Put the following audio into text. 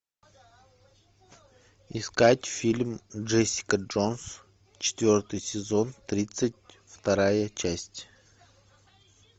искать фильм джессика джонс четвертый сезон тридцать вторая часть